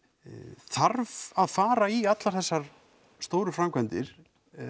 þarf að fara í allar þessar stóru framkvæmdir